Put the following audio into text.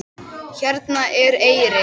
Hérna er eyrin.